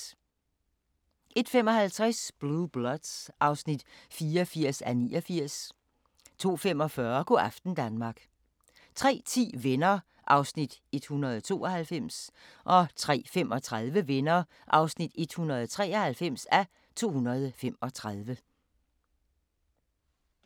01:55: Blue Bloods (84:89) 02:45: Go' aften Danmark 03:10: Venner (192:235) 03:35: Venner (193:235)